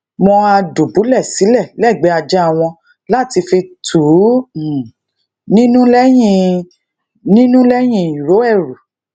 wón á dùbúlè silè légbèé ajá wọn láti fi tù um ú nínú léyìn ú nínú léyìn iro eru